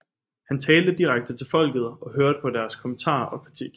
Han talte direkte til folket og hørte på deres kommentarer og kritik